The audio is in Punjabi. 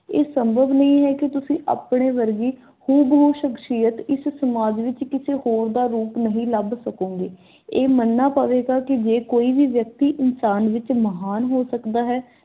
ਇਹ ਸੰਭਵ ਨਹੀਂ ਹੈ ਕੀ ਤੁਸੀਂ ਆਪਣੇ ਵਰਗੀ ਹੂਬਹੂ ਸ਼ਖਸ਼ੀਅਤ ਇਸ ਸਮਾਜ ਵਿਚ ਕਿਸੇ ਹੋਰ ਦਾ ਰੂਪ ਨਹੀਂ ਲੱਭ ਸਕੋਂਗੇ। ਇਹ ਮੰਨਣਾ ਪਵੇਗਾ ਕੇ ਜੇ ਕੋਈ ਵੀ ਵਿਅਕਤੀ ਇਨਸਾਨ ਵਿਚ ਮਹਾਨ ਹੋ ਸਕਦਾ ਹੈ